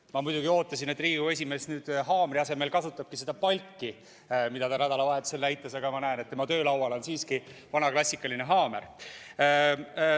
Ma muidugi ootasin, et Riigikogu esimees nüüd haamri asemel kasutab seda palki, mida ta nädalavahetusel näitas, aga ma näen, et tema töölaual on siiski vana klassikaline haamer.